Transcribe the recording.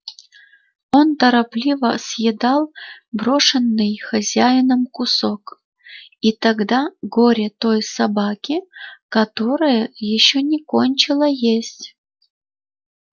он торопливо съедал брошенный хозяином кусок и тогда горе той собаке которая ещё не кончила есть